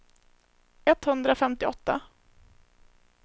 etthundrafemtioåtta